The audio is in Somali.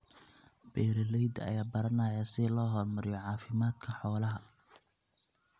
Beeralayda ayaa baranaya sida loo horumariyo caafimaadka xoolaha.